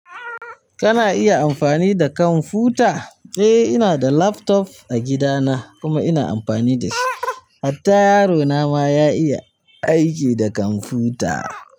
Kana iya amfani da kwamfuta? Eh, ina da laptop a gidana kuma ina amfani da shi. Hatta yaro na ma ya iya aiki da kwamfuta.